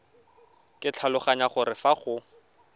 ke tlhaloganya gore fa go